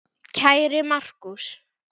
Kæri Markús.